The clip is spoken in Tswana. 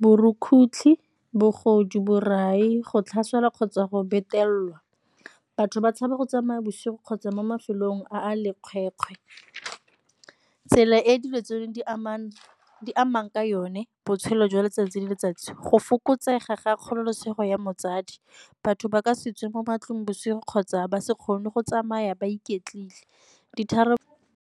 borukgutlhi, bogodu, borai, go tlhaselwa kgotsa go betelelwa. Batho ba tshaba go tsamaya bosigo kgotsa mo mafelong a a lekgwetlho tsela e dilo tse di amang amang ka yone botshelo jwa letsatsi le letsatsi, go fokotsega ga kgololosego ya motsadi batho ba ka se tswe mo matlong bosigo kgotsa ba se kgone go tsamaya ba iketlile, .